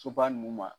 Soba ninnu ma